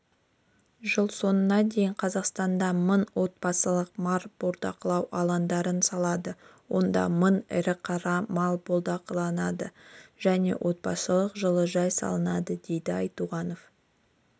жыл соңына дейін қазақстанда мың отбасылық мал бордақылау алаңдарын салады онда мың ірі-қара мал бордақыланады және отбасылық жылыжай салынады деді айтуғанов